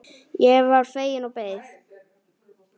Ég varð fegin og beið.